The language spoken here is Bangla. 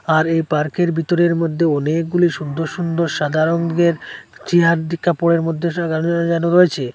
আর এই পার্কের ভিতরের মধ্যে অনেকগুলি সুন্দর সুন্দর সাদা রঙ্গের চিয়ার দিয়ে কাপড়ের মধ্যে সাজানো রয়েছে।